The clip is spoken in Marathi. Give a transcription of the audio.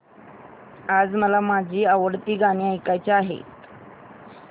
आज मला माझी आवडती गाणी ऐकायची आहेत